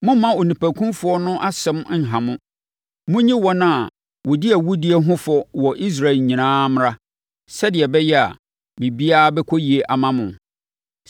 Mommma onipakumfoɔ no asɛm nha mo. Monyi wɔn a wɔdi awudie ho fɔ wɔ Israel nyinaa mmra, sɛdeɛ ɛbɛyɛ a, biribiara bɛkɔ yie ama mo.